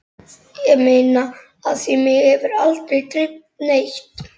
Ég meina af því mig hefur aldrei dreymt neitt.